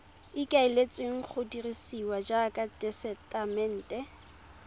ikaeletsweng go dirisiwa jaaka tesetamente